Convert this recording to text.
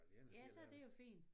Ja så er det jo fin